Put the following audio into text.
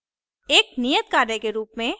एक नियत कार्य के रूप में